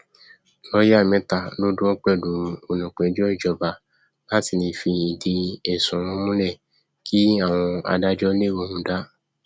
lọọyà mẹta ló dúró pẹlú olùpẹjọ ìjọba láti lè fi ìdí ẹsùn wọn múlẹ kí àwọn adájọ lè róhun dà